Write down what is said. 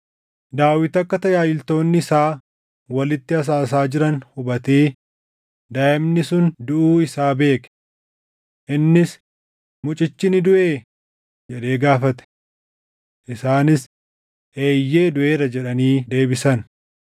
Daawit akka tajaajiltoonni isaa walitti asaasaa jiran hubatee daaʼimni sun duʼuu isaa beeke. Innis, “Mucichi ni duʼee?” jedhee gaafate. Isaanis, “Eeyyee duʼeera” jedhanii deebisan.